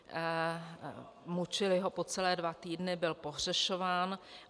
Mučili ho po celé dva týdny, byl pohřešován.